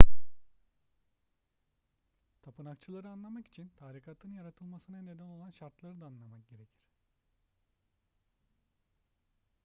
tapınakçıları anlamak için tarikatın yaratılmasına neden olan şartları da anlamak gerekir